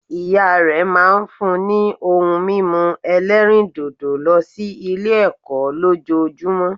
Ìya rẹ máa n fún ni ohun mímu ẹlẹ́rìndòdò lọ sí Ilé ẹ̀kọ́ lójojúmó